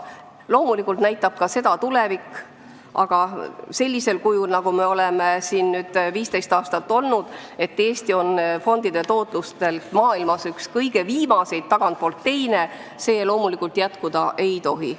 Loomulikult näitab ka seda tulevik, aga sellisel kujul, nagu see on 15 aastat olnud, et Eesti on fondide tootluselt maailmas üks kõige viimaseid, tagantpoolt teine, see loomulikult jätkuda ei tohi.